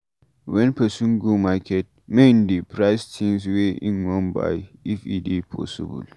when person go market, make im dey price things wey im wan buy if e dey possible